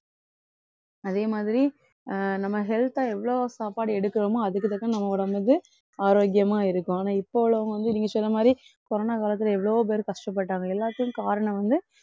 அதே மாதிரி அஹ் நம்ம health அ எவ்வளவு சாப்பாடு எடுக்கிறோமோ அதுக்கு தக்க நம்ம உடம்புக்கு ஆரோக்கியமா இருக்கும். ஆனா இப்போ உள்ளவங்க வந்து நீங்க சொன்ன மாதிரி corona காலத்துல எவ்வளவோ பேர் கஷ்டப்பட்டாங்க எல்லாத்தையும் காரணம் வந்து